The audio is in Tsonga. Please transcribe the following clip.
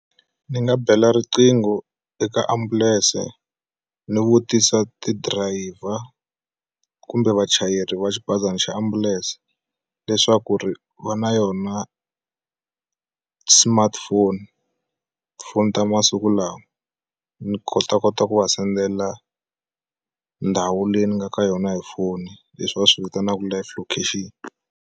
Ni nga bela riqingho eka ambulense ni vutisa ti driver kumbe vachayeri va xibazana xa ambulense leswaku ri va na yona smartphone tifoni ta masiku lawa ni kota kota ku va sendela ndhawu leyi ni nga ka yona hi foni leswi va swi vitanaka live location.